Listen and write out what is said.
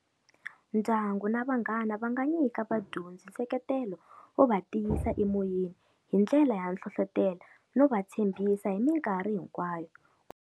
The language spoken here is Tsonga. Ndyangu na vanghana va nga nyika vadyondzi nseketelo wo va tiyisa emoyeni, hi ndlela ya nhlonhlotelo no va tshembisa hi mikarhi hinkwayo.